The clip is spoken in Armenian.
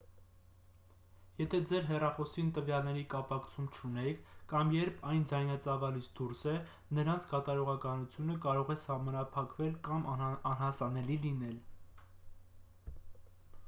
եթե ձեր հեռախոսին տվյալների կապակցում չունեք կամ երբ այն ձայնածավալից դուրս է նրանց կատարողականությունը կարող է սահմանափակվել կամ անհասանելի լինել